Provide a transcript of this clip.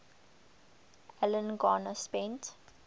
alan garner spent